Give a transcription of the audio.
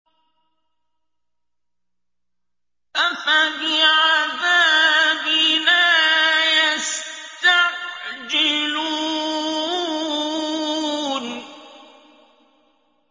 أَفَبِعَذَابِنَا يَسْتَعْجِلُونَ